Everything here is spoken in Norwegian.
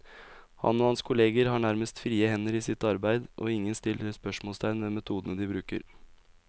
Han og hans kolleger har nærmest frie hender i sitt arbeid, og ingen stiller spørsmålstegn ved metodene de bruker.